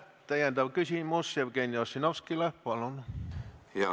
Täiendav küsimus, Jevgeni Ossinovski, palun!